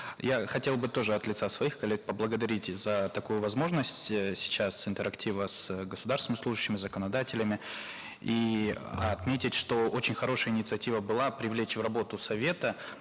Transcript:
я хотел бы тоже от лица своих коллег поблагодарить за такую возможность эээ сейчас интерактива с государственными служащими законодателями и отметить что очень хорошая инициатива была привлечь в работу совета